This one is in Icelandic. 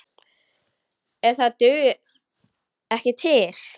En það dugir ekki til.